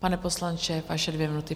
Pane poslanče, vaše dvě minuty.